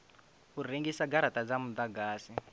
u rengisa garata dza mudagasi